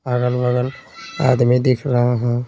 अगल-बगल आदमी दिख रहे है।